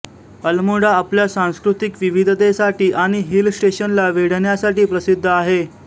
अल्मोडा आपल्या सांस्कृतिक विविधतेसाठी आणि हिल स्टेशनला वेढण्यासाठी प्रसिद्ध आहे